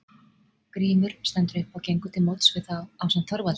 Grímur stendur upp og gengur til móts við þá ásamt Þorvaldi.